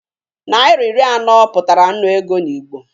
Naira iri anọ pụtara nnu ego n'Igbo